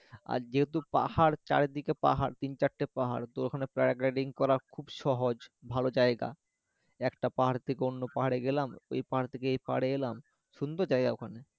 আর যেহেতু পাহাড় চারিদিকে পাহাড় তিন চারটে পাহাড় তো ওখানে করা খুব সহজ ভালো জায়গা একটা পাহাড় থেকে অন্য পাহাড়ে গেলাম ওই পাহাড় থেকে এই পাহাড়ে এলাম সুন্দর জায়গা ওখানে